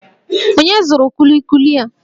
Onye zụrụ kulikuli a?